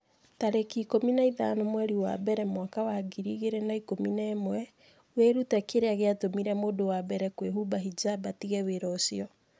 tarĩki ikũmi na ithano mweri wa mbere mwaka wa ngiri igĩrĩ na ikũmi na ĩmweWĩrute kĩrĩa gĩatũmire mũndũ wa mbere kũhumba hijab 'atige wĩra ũcio.